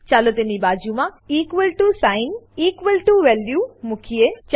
ચાલો તેની બાજુમાં equal ટીઓ સાઇન મુકીએ